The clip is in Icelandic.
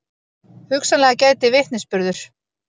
Hugsanlega gæti vitnisburður